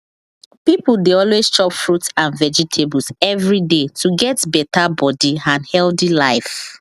people dey always chop fruits and vegetables every day to get better body and healthy life